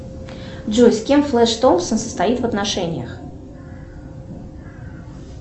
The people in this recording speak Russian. джой с кем флэш томпсон состоит в отношениях